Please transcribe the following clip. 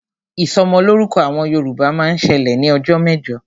Ìsọmọlọ́rúkọ àwọn Yorùbá máa ń ṣẹlẹ̀ ní ọjọ́ mẹ́jọ